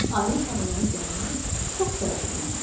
Ayı tarlaya gələndə çox təəccübləndi.